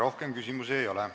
Rohkem küsimusi ei ole.